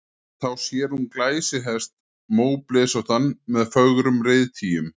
Þá sér hún glæsihest, móblesóttan með fögrum reiðtygjum.